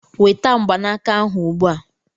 Weta mgbanaka ahụ ugbu a!